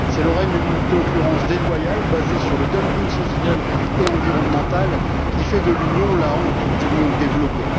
C'est le règne d'une concurrence déloyale basée sur le dumping social et environnemental qui fait de l'Union la honte du monde développé.